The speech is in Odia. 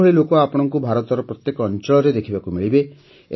ଏହିଭଳି ଲୋକ ଆପଣଙ୍କୁ ଭାରତର ପ୍ରତ୍ୟେକ ଅଞ୍ଚଳରେ ଦେଖିବାକୁ ମିଳିବେ